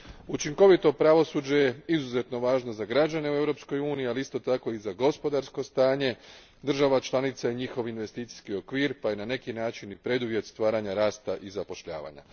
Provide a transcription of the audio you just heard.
Učinkovito pravosuđe je izuzetno važno za građane u Europskoj uniji, ali isto tako i za gospodarsko stanje država članica i njihov investicijski okvir pa je na neki način i preduvjet stvaranja rasta i zapošljavanja.